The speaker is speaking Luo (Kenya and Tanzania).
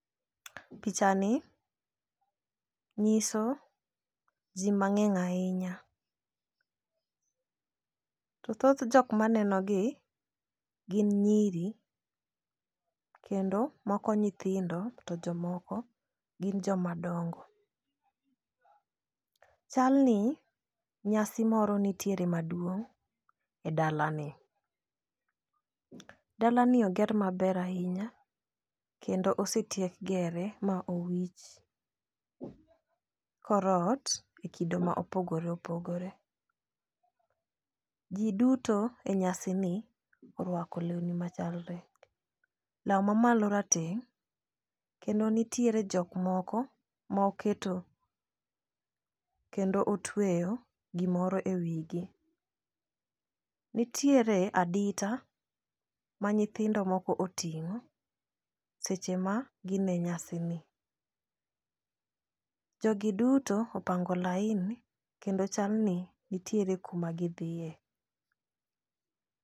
picha ni nyiso jii mang'eny ahinya. To thoth jok maneno gi gin nyiri kendo moko nyithindo to jomoko gin joma dongo. Chal ni nyasi moro nitiere maduong' e dalani . Dalani oger maber ahinya kendo osetiek gere ma owich korot e kido ma opogore opogore. Jii duto e nyasi ni orwako lewni machalre , law mamalo rateng' kendo nitiere jok moko moketo kendo otweyo gimoro e wigi. Nitiere adita ma nyithindo moko oting'o seche ma gin e nyasi ni. Jogi duto opango laini kendo chal ni nitiere kuma gidhiye.